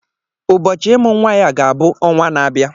Ụbọchị ịmụ nwa ya ga-abụ ọnwa na-abịa.